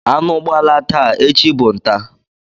Anụ gbalaa taa, echi bụ ntá.